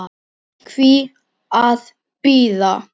Önnur hrinan var jöfn.